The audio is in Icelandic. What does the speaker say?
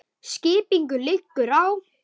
Skipinu liggur á.